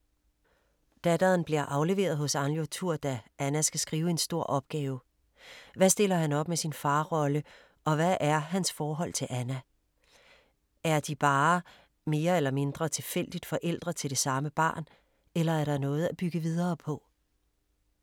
Datteren bliver afleveret hos Arnljotur, da Anna skal skrive en stor opgave. Hvad stiller han op med sin farrolle og hvad er hans forhold til Anna? Er de bare, mere eller mindre tilfældigt, forældre til det samme barn eller er der noget at bygge videre på?